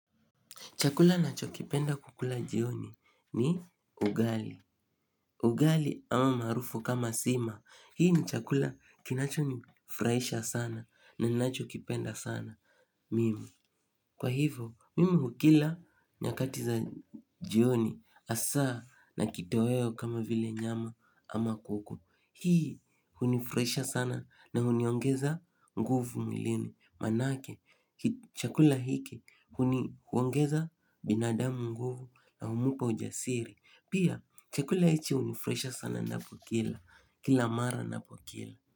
Chakula nachopenda kukila jioni ni ugali. Ugali al maarufu sima hii ni chakula kinachonifurahisha sana ninachokipenda sana Mimu. Kwa hivo, mimi hukila nyakati za jioni hasa na kitoweo kama vile nyama ama kuku. Hii hunifurahisha sana na huniongeza nguvu mwilini. Manake chakula hiki huongeza binadamu nguvu na humpa ujasiri pia chakula hiki hunifurahisha sana kila mara ninapokila.